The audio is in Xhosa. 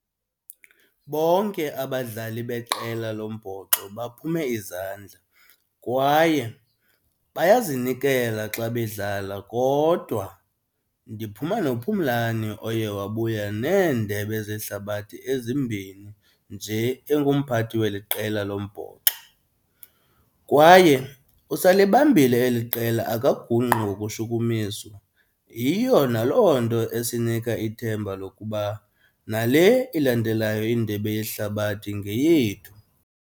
Bonke abadlali beqela lombhoxo baphume izandla kwaye bayazinikela xa bedlala kodwa ndiphuma noPhumlani oye wabuya neeHdebe zehlabathi ezimbini nje engumphathi weli qela lombhoxo. Kwaye usalibambile eli qela akagungqi ngokushukumiswa, yiyo naloo nto esinika ithemba lokuba nale ilandelayo iNdebe yeHlabathi ngeyethu.